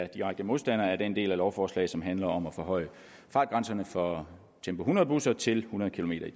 direkte modstandere af den del af lovforslaget der handler om at forhøje fartgrænsen for tempo hundrede busser til hundrede kilometer